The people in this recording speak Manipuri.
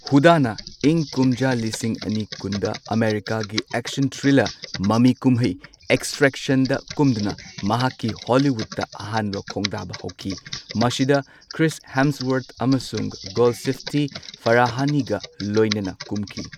ꯍꯨꯗꯥꯅ ꯏꯪ ꯀꯨꯝꯖꯥ ꯂꯤꯁꯤꯡ ꯑꯅꯤ ꯀꯨꯟꯗ ꯑꯃꯦꯔꯤꯀꯥꯒꯤ ꯑꯦꯛꯁꯟ ꯊ꯭ꯔꯤꯂꯔ ꯃꯃꯤꯀꯨꯝꯍꯩ ꯑꯦꯛꯁꯇ꯭ꯔꯦꯛꯁꯟꯗ ꯀꯨꯝꯗꯨꯅ ꯃꯍꯥꯛꯀꯤ ꯍꯣꯂꯤꯋꯨꯗꯇ ꯑꯍꯥꯟꯕ ꯈꯣꯡꯗꯥꯕ ꯍꯧꯈꯤ꯫ ꯃꯁꯤꯗ ꯀ꯭ꯔꯤꯁ ꯍꯦꯝꯁꯋꯔꯊ ꯑꯃꯁꯨꯡ ꯒꯣꯜꯁꯤꯐꯇꯦ ꯐꯔꯥꯍꯅꯤꯒ ꯂꯣꯢꯅꯅ ꯀꯨꯝꯈꯤ꯫